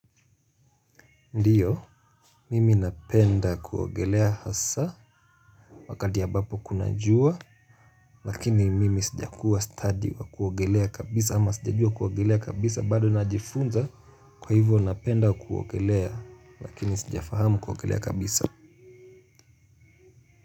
Ndiyo, mimi napenda kuogelea hasa wakati ambapo kuna jua, lakini mimi sijakuwa stadi wa kuogelea kabisa ama sijajua kuogelea kabisa bado najifunza kwa hivyo napenda kuogelea lakini sijafahamu kuogelea kabisa.